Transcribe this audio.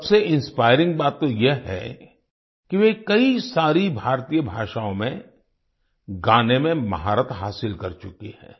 सबसे इंस्पायरिंग बात तो यह है कि वे कई सारी भारतीय भाषाओं में गाने में महारत हासिल कर चुकी हैं